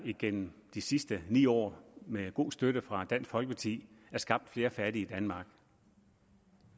gennem de sidste ni år med god støtte fra dansk folkeparti er skabt flere fattige i danmark